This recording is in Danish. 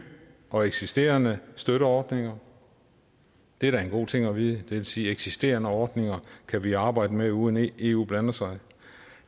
og eksisterende støtteordninger det er da en god ting at vide det vil sige at eksisterende ordninger kan vi arbejde med uden at eu blander sig